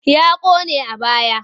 Ya ƙone a baya.